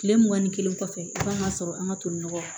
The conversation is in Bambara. Kile mugan ni kelen kɔfɛ i b'an ka sɔrɔ an ka toliyɔrɔ